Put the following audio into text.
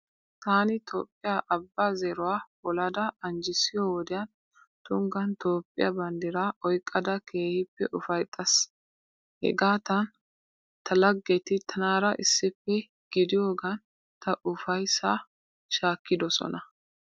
Taani Toophphiya Abbaa zeeruwa polada anjjissiyo wodiyan tunggaan Toophphiya banddiraa oyqqaada keehippe ufayittaas. Hegaatan ta laggeti tanaara issippe gidiyogaan ta ufayissaa shaakkidosona.